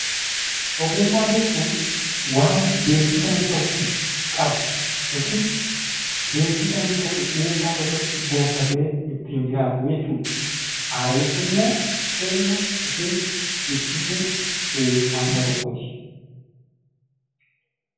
Ogummaa jechuun waan beekkumsa namni tokko qabu yookiin beekkumsa namni tokko dhuunfaatti gonfatee ittiin jiraatu jechuudha. Aadaa jechuun immoo ibsituu eenyummaa saba tokkooti.